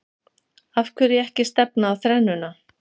Af hverju ekki stefna á þrennuna?